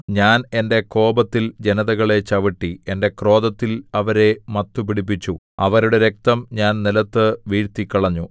ഞാൻ എന്റെ കോപത്തിൽ ജനതകളെ ചവിട്ടി എന്റെ ക്രോധത്തിൽ അവരെ മത്തുപിടിപ്പിച്ചു അവരുടെ രക്തം ഞാൻ നിലത്തു വീഴ്ത്തിക്കളഞ്ഞു